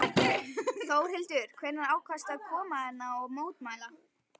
Þórhildur: Hvenær ákvaðstu að koma hérna og mótmæla?